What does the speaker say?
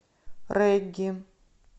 регги